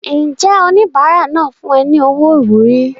Ǹjẹ́ oníbàárà náà fún ọ ní owó ìwúrí?